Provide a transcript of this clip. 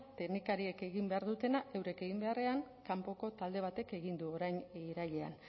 teknikariek egin behar dutena eurek egin beharrean kanpoko talde batek egin du orain irailean